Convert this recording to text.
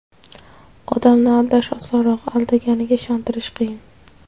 Odamni aldash osonroq, aldanganiga ishontirish qiyin.